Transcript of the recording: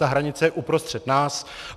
Ta hranice je uprostřed nás.